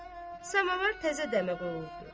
Samavar təzə dəmə qoyulubdur.